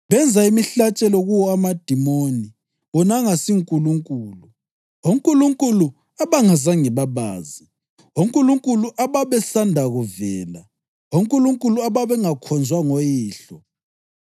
Benza imihlatshelo kuwo amadimoni, wona angasiNkulunkulu, onkulunkulu ababengazange babazi, onkulunkulu ababesanda kuvela, onkulunkulu ababengakhonzwa ngoyihlo.